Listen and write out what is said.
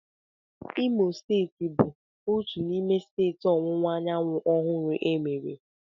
Imo steeti bụ otu n'ime steeti Ọwụwa Anyanwụ ọhụrụ emere.